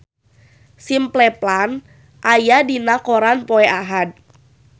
Simple Plan aya dina koran poe Ahad